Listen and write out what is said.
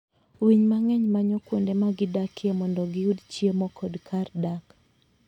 Winy mang'eny manyo kuonde ma gidakie mondo giyud chiemo kod kar dak.